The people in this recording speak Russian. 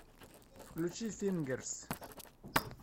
включи фингерс